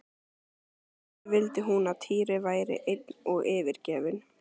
En ekki vildi hún að Týri væri einn og yfirgefinn!